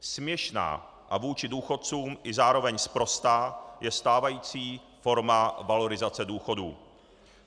Směšná a vůči důchodcům i zároveň sprostá je stávající forma valorizace důchodů.